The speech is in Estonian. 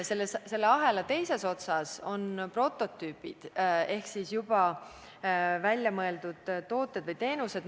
Selle ahela teises otsas on prototüübid ehk siis juba väljamõeldud tooted ja teenused.